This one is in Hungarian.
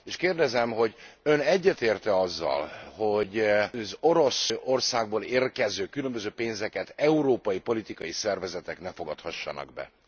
És kérdezem, hogy Ön egyetért e azzal, hogy az Oroszországból érkező különböző pénzeket európai politikai szervezetek ne fogadhassanak be?